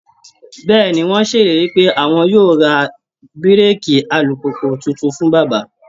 Bẹ́ẹ̀ ni, wọ́n ṣèlérí pé àwọn yóò ra búréèkì alùpùpù tuntun fún bàbá